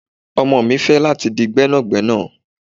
Ọmọ mi fẹ lati di gbénàgbénà